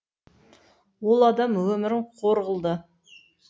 ол адам өмірін қор қылды